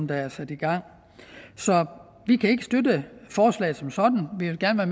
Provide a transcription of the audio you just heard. der er sat i gang så vi kan ikke støtte forslaget som sådan vi vil gerne